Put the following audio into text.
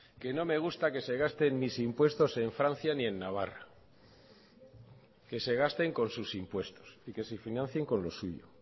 que no me gusta que se gasten mis impuestos en francia ni en navarra que se gasten con sus impuestos y que se financien con lo suyo